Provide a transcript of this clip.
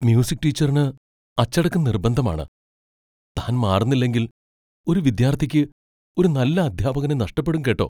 Music ടീച്ചറിന് അച്ചടക്കം നിർബന്ധമാണ്, താൻ മാറുന്നില്ലെങ്കിൽ ഒരു വിദ്യാർത്ഥിക്ക് ഒരു നല്ല അധ്യാപകനെ നഷ്ടപ്പെടും കേട്ടോ.